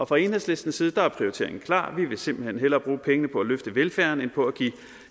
fra enhedslistens side er prioriteringen klar vi vil simpelt hen hellere bruge pengene på at løfte velfærden end på at give